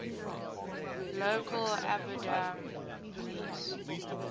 local abadan police